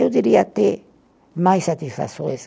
Eu diria até mais satisfações